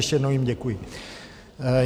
Ještě jednou jim děkuji.